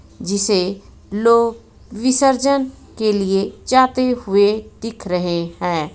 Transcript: जिसे लोग विसर्जन के लिए जाते हुए दिख रहे हैं.